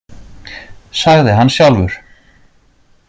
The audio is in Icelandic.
Sagði hann sjálfur.